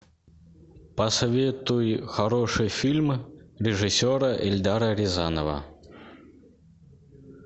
посоветуй хороший фильм режиссера эльдара рязанова